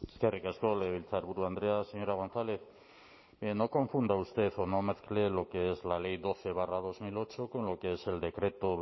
eskerrik asko legebiltzarburu andrea señora gonzález no confunda usted o no mezcle lo que es la ley doce barra dos mil ocho con lo que es el decreto